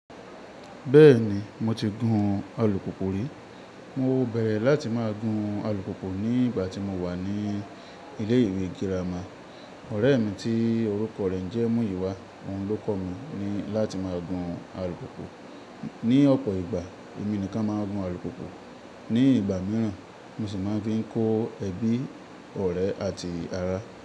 Bẹ́ẹ̀ni, mo ti gun alùpùpù rí. Mo bẹ̀rẹ̀ láti má gun alùpùpù ní ìgbà tí mo wà ní ilé ìwé girama. Ọ̀rẹ́ mi tí orúkọ rẹ̀ ńjẹ́ Muyiwa, òun ló kọ́ mi ní láti má gun alùpùpù. Ni ọ̀pọ̀ ìgbà, èmi nìkan máa ń gun alùpùpù. Ni ìgbà mìíràn mo sì máa ń fi kó ẹbí, ọ̀rẹ́ àti ará.